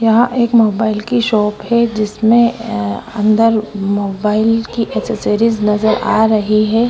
यहाँ एक मोबाईल की शॉप है जिसने अंदर मोबाईल की एक्सेसरीज नज़र आ रही है।